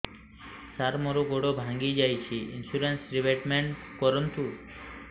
ସାର ମୋର ଗୋଡ ଭାଙ୍ଗି ଯାଇଛି ଇନ୍ସୁରେନ୍ସ ରିବେଟମେଣ୍ଟ କରୁନ୍ତୁ